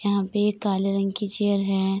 यहाँ पे एक काले रंग की चेयर है।